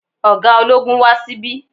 Ọ̀gá ológun wá sí bí